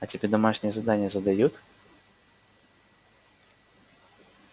а тебе домашние задание задают